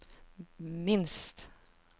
minst